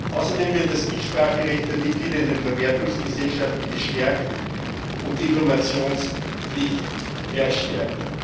Außerdem wird das Mitspracherecht der Mitglieder in den Verwertungsgesellschaften gestärkt und die Informationspflicht verstärkt.